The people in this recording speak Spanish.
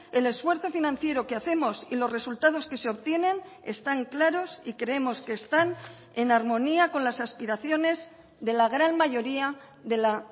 el esfuerzo financiero que hacemos y los resultados que se obtienen están claros y creemos que están en armonía con las aspiraciones de la gran mayoría de la